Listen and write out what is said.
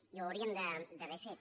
i ho hauríem d’haver fet